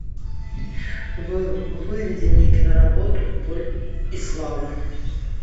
выведи мне киноработу боль и слава